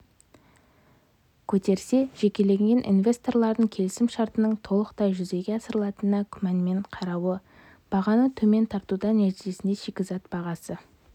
көтерсе жекелеген инвесторлардың келісімшартының толықтай жүзеге асырылатынына күмәнмен қарауы бағаны төмен тартуда нәтижесінде шикізат бағасы